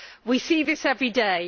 We see this every day